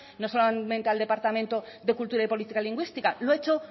no solamente al departamento de cultura y política lingüística lo ha hecho